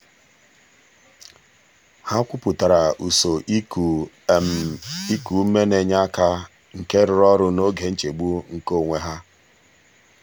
ha kwupụtara usoro iku iku ume na-enye aka nke rụrụ ọrụ n'oge nchegbu nke onwe ha.